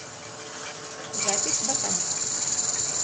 запись ботаник